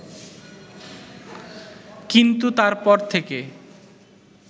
কিন্তু তারপর থেকে